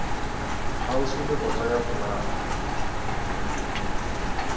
kgauswi le kota ya folaga